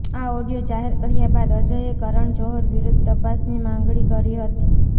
આ ઓડિયો જાહેર કર્યા બાદ અજયે કરણ જોહર વિરૂદ્ધ તપાસની માગણી કરી છે